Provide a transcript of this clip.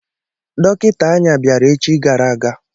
Dọkịta anya bịara echi gara aga.